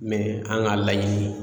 an ka laɲini